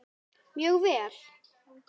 Mjög vel.